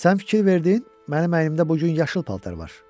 Sən fikir verdin, mənim əynimdə bu gün yaşıl paltar var?